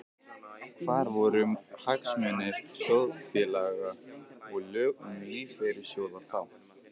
Hvar voru hagsmunir sjóðfélaga og lög um lífeyrissjóði þá?